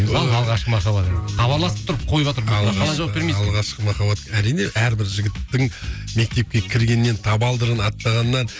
ал алғашқы махаббатыңды хабарласып тұрып қойыватыр мына халық қалай жауап бермейсің алғашқы махаббат әрине әрбір жігіттің мектепке кіргеннен табалдырығын аттағаннан